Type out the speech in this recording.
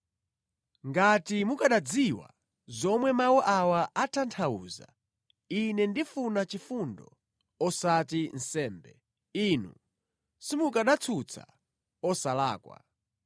Ngati mukanadziwa zomwe mawu awa atanthauza, ‘Ine ndifuna chifundo osati nsembe,’ inu simukanatsutsa osalakwa.